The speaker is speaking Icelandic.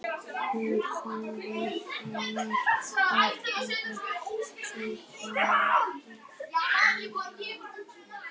En þegar hann var á ferð sinni kominn í nánd við